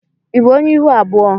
i bụ ọnye ịhụ abụọ?